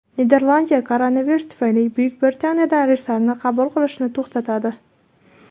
Niderlandiya koronavirus tufayli Buyuk Britaniyadan reyslarni qabul qilishni to‘xtatadi.